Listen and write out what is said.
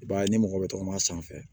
I b'a ye ni mɔgɔ bɛ tɔgɔma sanfɛ